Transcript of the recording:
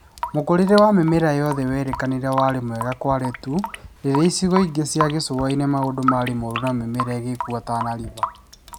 Mũkũrĩre wa mĩmera yothe werĩkanire warĩ mwega Kwale tu rĩrĩa icigo ingi cia gĩcũa-inĩ maundũ marĩ moru na mĩmera ĩgĩkua Tana River